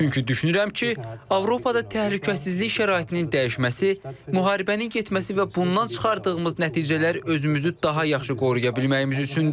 Çünki düşünürəm ki, Avropada təhlükəsizlik şəraitinin dəyişməsi, müharibənin getməsi və bundan çıxardığımız nəticələr özümüzü daha yaxşı qoruya bilməyimiz üçündür.